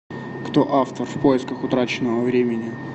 кто автор в поисках утраченного времени